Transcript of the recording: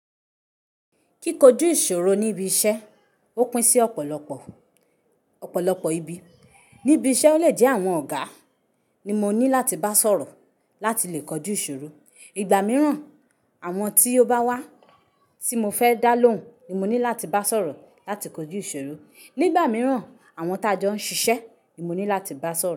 Kíkóju ìṣòro níbi iṣẹ́, ó pín sí ọ̀pọ̀lọpọ̀, ọ̀pọ̀lọpọ̀ ibi. Níbi iṣẹ́, ó lè jẹ́ àwọn ọ̀gá ni mo ní láti bá sọ̀rọ̀ láti lè kojú ìṣòro. Igbà mìíràn, àwọn tí ó bá wá tí mo fẹ́ dá lóhùn ni mo ní láti bá sọ̀rọ̀ láti kojú ìṣòro. Nígbà mìíràn, àwọn tá jọ ń ṣiṣẹ́ ni mo ní láti bá sọ̀rọ̀